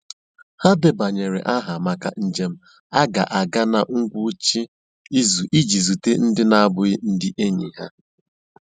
Ha debanyere aha maka njem a ga-aga na ngwụcha izu iji zute ndị na-abụghị ndị enyi ha.